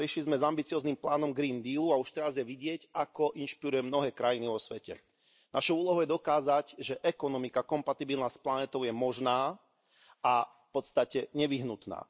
Prišli sme s ambicióznym plánom Green Deal u a už teraz je vidieť, ako inšpiruje mnohé krajiny vo svete. Našou úlohou je dokázať, že ekonomika kompatibilná s planétou je možná a v podstate nevyhnutná.